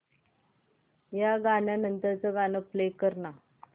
या गाण्या नंतरचं गाणं प्ले कर ना